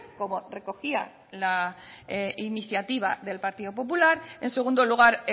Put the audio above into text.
como recogía la iniciativa del partido popular en segundo lugar